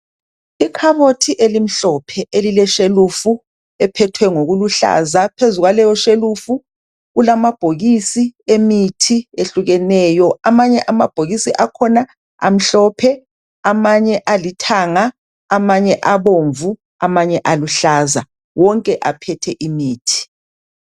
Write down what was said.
Ikhabothi elimhlophe elileshelufu, eliphethwe ngokuluhlaza phezu kwalelo shelufu kulama bokisi emithi yehlukeneyo kulamabhokisi amhlophe amanye abomvu amanye aluhlaza